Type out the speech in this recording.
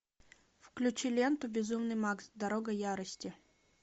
включи ленту безумный макс дорога ярости